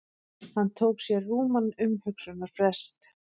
Hann tók sér rúman umhugsunarfrest.